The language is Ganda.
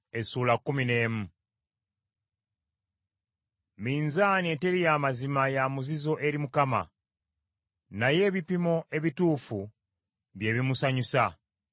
Minzaani eteri ya mazima ya muzizo eri Mukama , naye ebipimo ebituufu bye bimusanyusa.